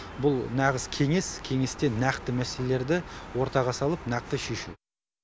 бұл нағыз кеңес кеңесте нақты мәселелерді ортаға салып нақты шешу